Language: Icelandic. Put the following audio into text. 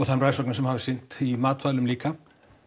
það eru rannsóknir sem hafa sýnt í matvælum líka